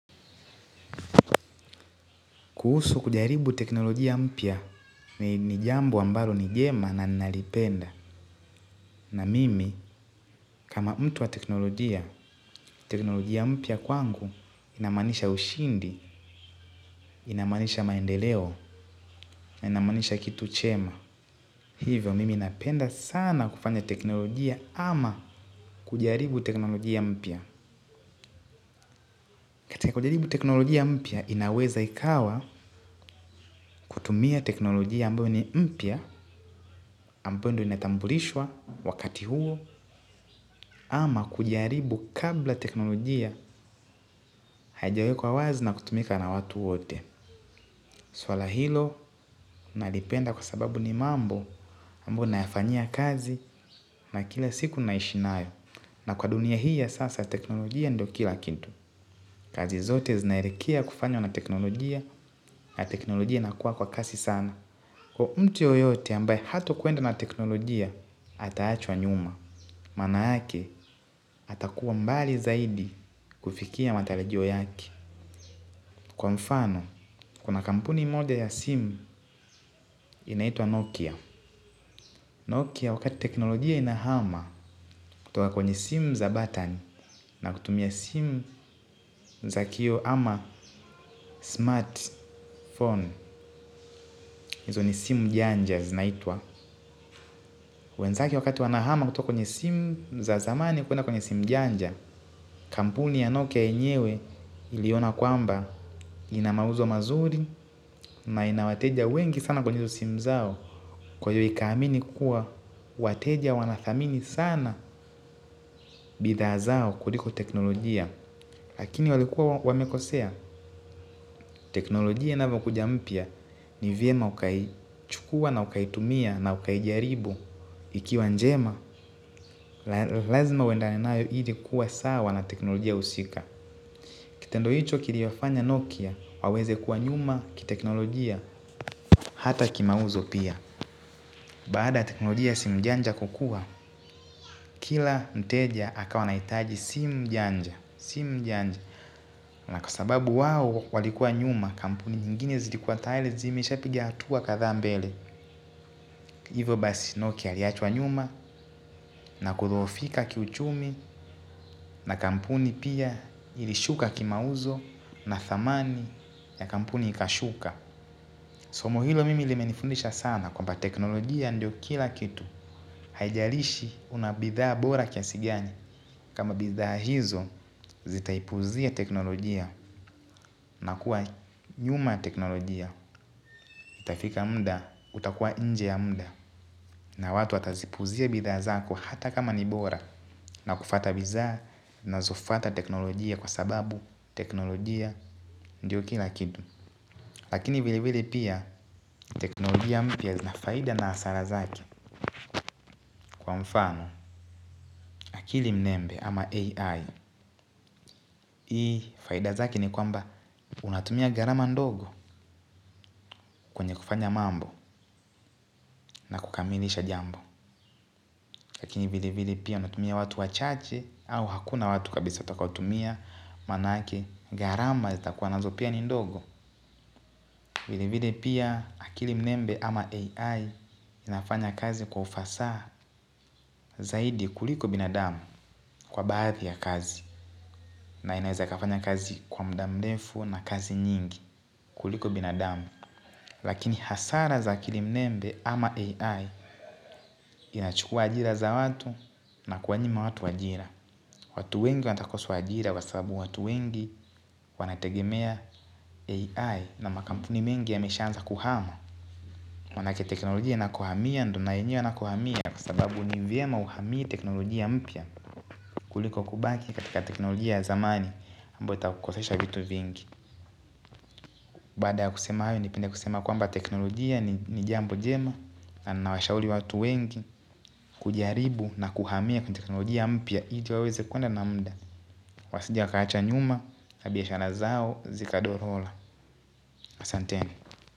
Kuhusu kujaribu teknolojia mpya ni jambo ambalo ni njema na nalipenda. Na mimi kama mtu wa teknolojia, teknolojia mpya kwangu inamaanisha ushindi, inamaanisha maendeleo, inamanisha kitu chema. A. Hivyo mimi napenda sana kufanya teknolojia ama kujaribu teknolojia mpia. Katika kujaribu teknolojia mpya, inaweza ikawa kutumia teknolojia ambayo ni mpya, ambayo ndo inetambulishwa wakati huo, ama kujaribu kabla teknolojia haijawekwa wazi na kutumika na watu wote. Swala hilo, nalipenda kwa sababu ni mambo ambayo nayafanyia kazi na kila siku naishi nayo. Na kwa dunia hii ya sasa teknolojia ndo kila kitu. Kazi zote zinaelekea kufanywa na teknolojia na teknolojia inakuwa kwa kasi sana. Kwa mtu yoyote ambaye hatokuenda na teknolojia ataachwa nyuma, mana yake atakuwa mbali zaidi kufikia matarajio yaki. Kwa mfano, kuna kampuni moja ya simu inaitwa Nokia. Nokia wakati teknolojia inahama kutoka kwenye simu za batani na kutumia simu za kioo ama smartphone, hizo ni simu janja zinaitwa. Wenzake wakati wanahama kutoka kwenye simu za zamani kwenye simu janja, kampuni ya nokia enyewe iliona kwamba ina mauzo mazuri na ina wateja wengi sana kwenye simu zao kwa hiyo ikaamini kuwa wateja wanathamini sana bidhaa zao kuliko teknolojia. Lakini walikuwa wamekosea, teknolojia inavyokuja mpya ni vyema ukaichukua na ukaitumia na ukaijaribu. Ikiwa njema, lazima uendane nayo ili kuwa sawa na teknolojia usika. Kitendo hicho kiliwafanya Nokia, waweze kuwa nyuma kiteknolojia, hata kimauzo pia. Baada teknolojia simu janja kukua, kila mteja akawa anaitaji simu janja. Si janja, na kwa sababu wao walikua nyuma, kampuni nyinginye zilikuwa tayari, zimeshapiga hatua kadhaa mbele. Hivo basi Nokia aliachwa nyuma na kudhofika kiuchumi na kampuni pia ilishuka kimauzo na dhamani ya kampuni ikashuka somo hilo mimi limenifundisha sana kwamba teknolojia mdo kila kitu. Haijalishi una bidhaa bora kiasi gani. Kama bidhaa hizo zitaipuzia teknolojia na kuwa nyuma teknolojia. Itafika muda utakuwa nje ya muda. Na watu atazipuzia bidhaa zako hata kama nibora. Na kufuata bidhaa zinazofuata teknolojia kwa sababu teknolojia ndio kila kitu. Lakini vile vile pia teknolojia mpya zina faida na hasara zake. Kwa mfano akili mnembe ama AI. Hii faida zake ni kwamba unatumia gharama ndogo kwenye kufanya mambo na kukamilisha jambo. Lakini vile vile pia unatumia watu wachache au hakuna watu kabisa utakotumia manake gharama zitakuwa nazo pia ni ndogo. Vile vile pia akili mnembe ama AI inafanya kazi kwa ufasaha zaidi kuliko binadamu kwa baadhi ya kazi. Na inaeza ikafanya kazi kwa muda mrefu na kazi nyingi kuliko binadamu. Lakini hasara za akili mnembe ama AI inachukua ajira za watu na kuwanyima watu ajira. Watu wengi watakosa ajira kwa sababu watu wengi wanategemea AI na makampuni mengi yameshaanza kuhama manake teknolojia inakohamia ndo na wenyewe wanakohamia kwa sababu ni vyema uhamie teknolojia mpya. Kuliko kubaki katika teknolojia zamani ambayo itakukosesha vitu vingi. Baada ya kusema hayo nipende kusema kwamba teknolojia ni jambo njema. Na nawashauri watu wengi kujaribu na kuhamia kwenye teknolojia mpya ili waweze kuenda na muda. Wasije wakaachwa nyuma, na biashara zao, zikadhorora. Asante.